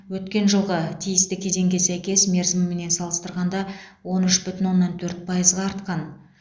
өткен жылғы тиісті кезеңге сәйкес мерзімімен салыстырғанда он үш бүтін оннан төрт пайызға артқан